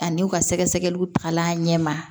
Ani u ka sɛgɛsɛgɛliw taga ɲɛma